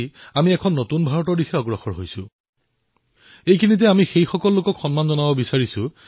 তেওঁলোক চকমকীয়া পৃথিৱীৰ পৰা দূৰৈত কিন্তু এওঁলোকে এনে লোক যি প্ৰচাৰবিমুখ